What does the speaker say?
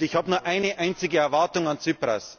Ich habe nur eine einzige Erwartung an Tsipras.